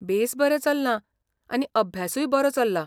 बेस बरें चल्लां आनी अभ्यासूय बरो चल्ला.